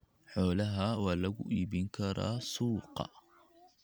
Xoolaha waa lagu iibin karaa suuqa.